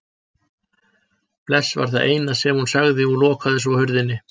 Bless var það eina sem hún sagði og lokaði svo hurðinni.